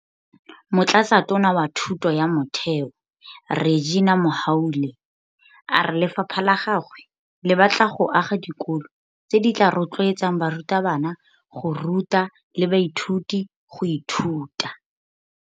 Motlatsatona wa Thuto ya Motheo Reginah Mhaule a re lefapha la gagwe le batla go aga dikolo tse di tla rotloetsang barutabana go ruta le baithuti go ithuta.